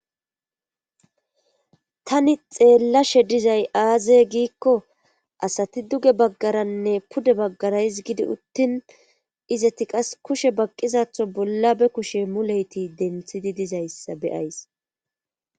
tani xeellashe dizay aaze giikko asati duge baggaranne pude baggara gidi uttin izati qas kushe baqqizatho bolla be kushe muleyti denthidi dizayssa beyays